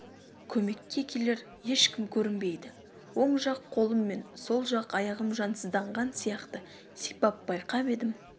көмекке келер ешкім көрінбейді оң жақ қолым мен сол жақ аяғым жансызданған сияқты сипап байқап едім